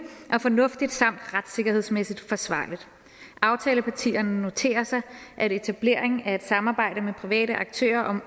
og fornuftigt samt retssikkerhedsmæssigt forsvarligt aftalepartierne noterer sig at etableringen af et samarbejde med private aktører om